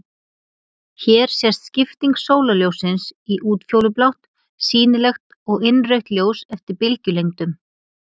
Hér sést skipting sólarljóssins í útfjólublátt, sýnilegt og innrautt ljós, eftir bylgjulengdum.